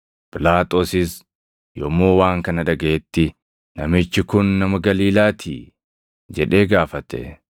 Phiilaaxoosis yommuu waan kana dhagaʼetti, “Namichi kun nama Galiilaatii?” jedhee gaafate.